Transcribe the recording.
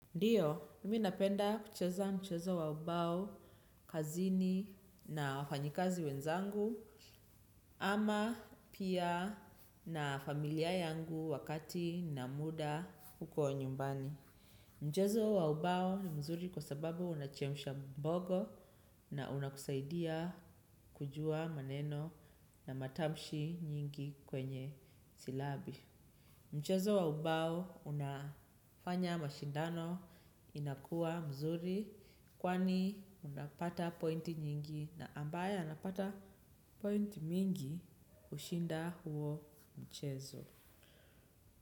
Ndiyo, nimi napenda kucheza mchezo wa ubao, kazini na wafanyikazi wenzangu, ama pia na familia yangu wakati na muda huko nyumbani. Mchezo wa ubao ni mzuri kwa sababu unachemsha ubongo na unakusaidia kujua maneno na matamshi nyingi kwenye silabi. Mchezo wa ubao unafanya mashindano inakuwa mzuri kwani unapata pointi nyingi na ambaye anapata pointi mingi hushinda huo mchezo.